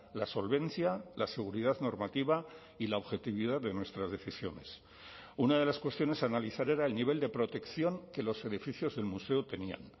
la solvencia la seguridad normativa y la objetividad de nuestras decisiones una de las cuestiones a analizar era el nivel de protección que los edificios del museo tenían